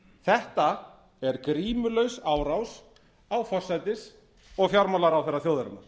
þetta er grímulaus árás á forsætis og fjármálaráðherra þjóðarinnar